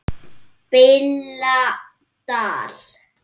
BILLA DAL